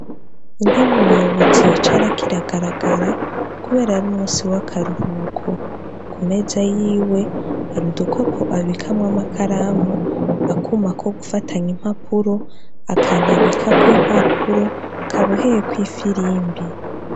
Intebe umuyobozi yicarako iragaragara kubera ari umusi w'akaruhuko. Ku meza yiwe hari udukopo abikamwo amakaramu, akuma ko gufatanya impapuro, akantu abikako impapuro kaboheyeko ifirimbi.